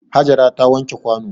Hajara ta wanke kwano.